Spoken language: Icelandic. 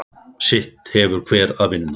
Sitt hefur hver að vinna.